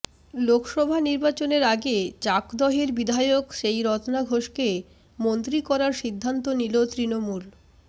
লোকসভা নির্বাচনের আগে চাকদহের বিধায়ক সেই রত্না ঘোষকে মন্ত্রী করার সিদ্ধান্ত নিল তৃণমূল